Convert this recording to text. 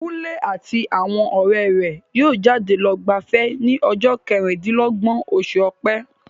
Kunle àti àwọn ọ̀rẹ́ rẹ̀ yóò jáde lọ gbafẹ́ ní ọjọ́ kẹrìndínlọ́gbọ̀n oṣù ọ̀pẹ.